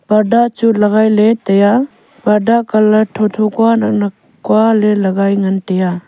purda chu legai ley taiya purda colour tho tho kua nak nak kua le legai ngan taiya.